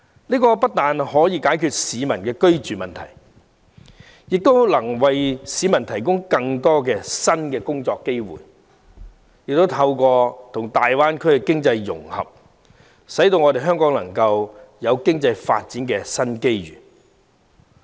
這不但可以解決市民的居住問題，亦能為市民提供更多新工作機會，而透過與大灣區經濟融合，香港亦能獲得經濟發展的新機遇。